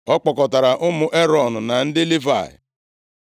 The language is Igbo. Ọ kpọkọtara ụmụ Erọn na ndị Livayị: